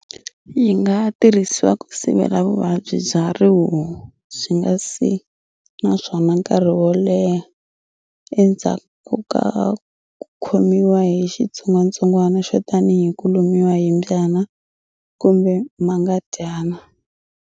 Yi nga tirhisiwa ku sivela vuvabyi bya rihuhu byi nga si naswona nkari wo leha endzhaku ku khomiwa hi xitsongwatsongwana xo tanihi ku lumiwa hi mbyana kumbe mhangadyana.